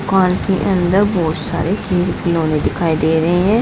दुकान के अंदर बहुत सारे खेल खिलौने दिखाई दे रहे हैं।